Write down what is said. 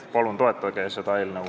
Palun toetage seda!